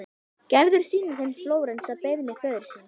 Gerður sýnir þeim Flórens að beiðni föður síns.